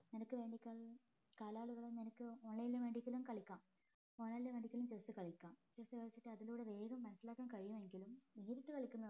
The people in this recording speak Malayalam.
നിനക്ക് വേണ്ടി കാലാളുകളെ നിനക്ക് online ൽ വേണ്ടിയെങ്കിലും കളിക്കാം online ൽ വേണ്ടിയെങ്കിലും chess കളിക്കാം chess കളിച്ചിട്ട് അതിലൂടെ വേഗം മനസ്സിലാക്കാൻ കഴിയുമെങ്കിലും നേരിട്ട് കളിക്കുന്നതാണ്